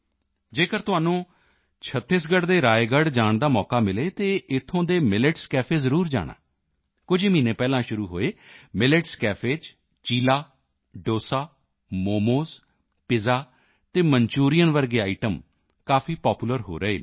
ਜੇਕਰ ਤੁਹਾਨੂੰ ਛੱਤੀਸਗੜ੍ਹ ਦੇ ਰਾਏਗੜ੍ਹ ਜਾਣ ਦਾ ਮੌਕਾ ਮਿਲੇ ਤਾਂ ਇੱਥੋਂ ਦੇ ਮਿਲੇਟਸ ਕੇਫ ਜ਼ਰੂਰ ਜਾਣਾ ਕੁਝ ਹੀ ਮਹੀਨੇ ਪਹਿਲਾਂ ਸ਼ੁਰੂ ਹੋਏ ਮਿਲੇਟਸ ਕੇਫ ਚ ਚੀਲਾ ਡੋਸਾ ਮੋਮੋਜ਼ ਪਿੱਜ਼ਾ ਅਤੇ ਮਨਚੂਰੀਅਨ ਵਰਗੇ ਆਈਟਮ ਕਾਫੀ ਪਾਪੂਲਰ ਹੋ ਰਹੇ ਹਨ